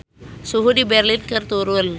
Suhu di Berlin keur turun